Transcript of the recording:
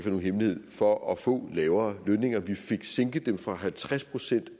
nogen hemmelighed for at få lavere lønninger vi fik sænket dem fra halvtreds procent